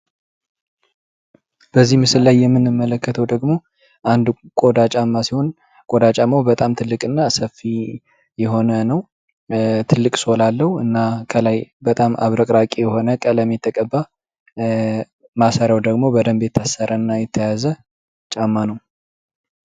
በዚህ ምስል ላይ የምንመለከተው ደግሞ አንድ ቆዳ ጫማ ሲሆን፤ ጎዳናው በጣም ትልቅ የሆነ ነው፣ ትልቅ ሶል አለው እና ከላይ በጣም አብረቅራቂ የሆነ ቀለም የተቀባ፣ ማሰሪያው ደግሞ የታሰረ እና የተያዘ ጫማ ነው።